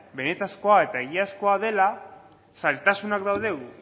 benetakoa eta egiazkoa dela zailtasunak daude